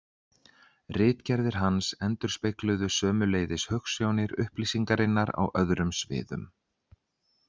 Ritgerðir hans endurspegluðu sömuleiðis hugsjónir upplýsingarinnar á öðrum sviðum.